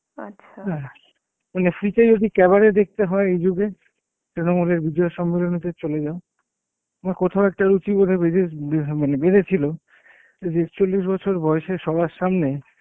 হ্যাঁ মানে free তে যদি cabare দেখতে হয় এই যুগে তৃণমূলের বিজয়া সম্মেলনিতে চলে যাও. আমার কোথাও একটা রুচিবোধে বিশেষ বিধা~ মানে বেঁধে ছিল যে একচল্লিশ বছর বয়সে সবার সামনে